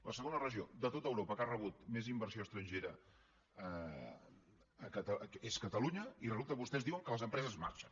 la segona regió de tot europa que ha rebut més inversió estrangera és catalunya i resulta que vostès diuen que les empreses marxen